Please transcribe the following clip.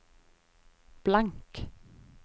blank